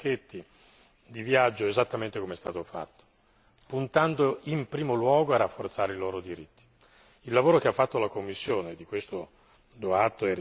Per questa ragione, io credo che sia stato importante affrontare il tema dei pacchetti di viaggio esattamente come è stato fatto, puntando in primo luogo a rafforzare i loro diritti.